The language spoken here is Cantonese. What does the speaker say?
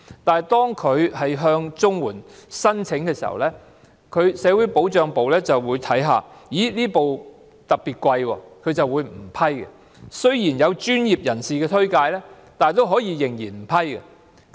但是，當他們申請綜援時，社會保障辦事處發現輪椅特別昂貴，便不會批准。即使有專業人士推薦，仍然不批准。